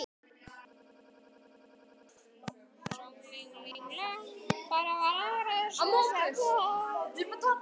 Jón bróðir okkar.